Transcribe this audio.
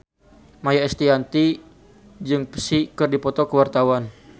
Maia Estianty jeung Psy keur dipoto ku wartawan